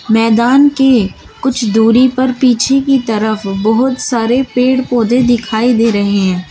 मैदान के कुछ दूरी पर पीछे की तरफ बहुत सारे पेड़ पौधे दिखाई दे रहे हैं।